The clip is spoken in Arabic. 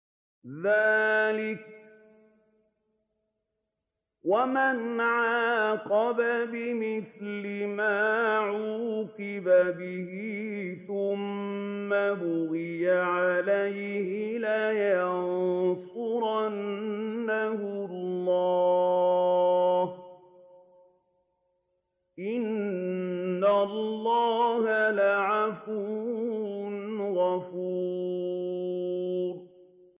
۞ ذَٰلِكَ وَمَنْ عَاقَبَ بِمِثْلِ مَا عُوقِبَ بِهِ ثُمَّ بُغِيَ عَلَيْهِ لَيَنصُرَنَّهُ اللَّهُ ۗ إِنَّ اللَّهَ لَعَفُوٌّ غَفُورٌ